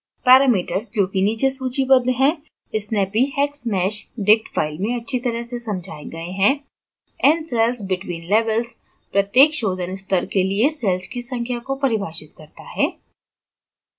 parameters जो कि नीचे सूचिबद्ध हैं snappyhexmeshdict file में अच्छी तरह से समझाया गये हैं ncellsbetweenlevels प्रत्येक शोधन स्तर के लिए cells की संख्या को परिभाषित करता है